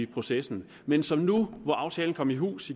processen men som i går hvor aftalen kom i hus